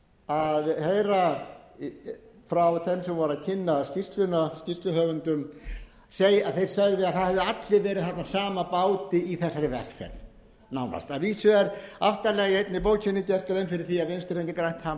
að heyra frá þeim sem voru að kynna skýrsluna skýrsluhöfundum þeir sögðu að allir hefðu verið á sama báti í þessari vegferð nánast að vísu er allt annað í einni bókinni gerð grein fyrir því